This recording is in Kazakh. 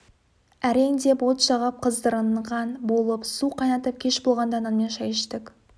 әрең деп от жағып қыздырынған болып су қайнатып кеш болғанда нанмен шай іштік